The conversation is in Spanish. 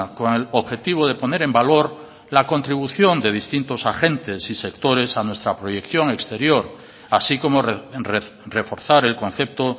con el objetivo de poner en valor la contribución de distintos agentes y sectores a nuestra proyección exterior así como reforzar el concepto